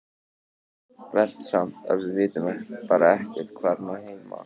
Verst samt að við vitum bara ekkert hvar hún á heima.